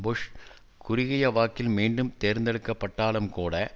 push குறுகிய வாக்கில் மீண்டும் தேர்ந்தெடுக்கப்பட்டாலும் கூட